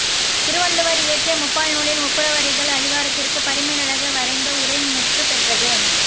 திருவள்ளுவர் இயற்றிய முப்பால் நூலின் ஒப்புரவறிதல் அதிகாரத்திற்குப் பரிமேலழகர் வரைந்த உரை முற்றுப்பெற்றது